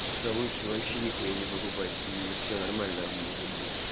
да лучше вообще нихуя не покупать и все нормально может быть